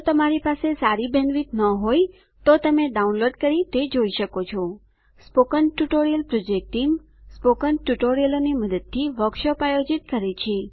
જો તમારી પાસે સારી બેન્ડવિડ્થ ન હોય તો તમે ડાઉનલોડ કરી તે જોઈ શકો છો spoken tutorial project team spoken ટ્યુટોરીયલોની મદદથી વર્કશોપ આયોજિત કરે છે